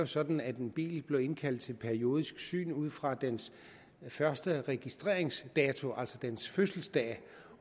sådan at en bil bliver indkaldt til periodisk syn ud fra dens første registreringsdato altså dens fødselsdag